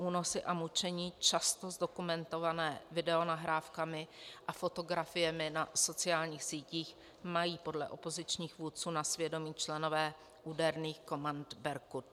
Únosy a mučení, často zdokumentované videonahrávkami a fotografiemi na sociálních sítích, mají podle opozičních vůdců na svědomí členové úderných komand Berkut.